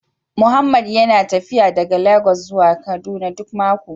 Mohammed yana tafiya daga Legas zuwa Kaduna duk mako